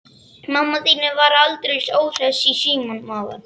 Mamma þín var aldeilis óhress í símanum áðan.